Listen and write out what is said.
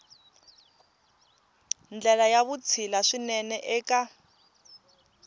ndlela ya vutshila swinene eka